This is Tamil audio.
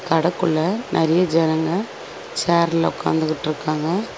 கடக்குள்ள நெறைய ஜனங்க சேர்ல உக்காந்துகிட்ருக்காங்க.